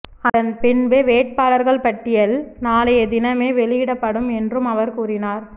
அதன்பின்பு வேட்பாளர்கள் பட்டியல் நாளைய தினமே வெளியிடப்படும் என்றும் அவர் கூறினார்